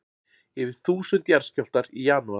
Yfir þúsund jarðskjálftar í janúar